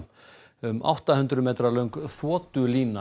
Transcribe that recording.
um átta hundruð metra löng